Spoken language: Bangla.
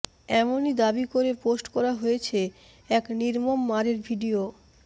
এমনই দাবি করে পোস্ট করা হয়েছে এক নির্মম মারের ভিডিও